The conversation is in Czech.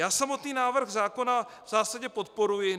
Já samotný návrh zákona v zásadě podporuji.